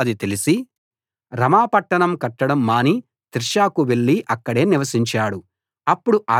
బయెషాకు అది తెలిసి రమా పట్టణం కట్టడం మాని తిర్సాకు వెళ్లి అక్కడే నివసించాడు